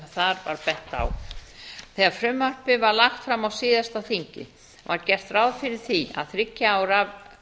var bent á þegar frumvarpið var lagt fram á síðasta þingi var gert ráð fyrir því að þriggja ára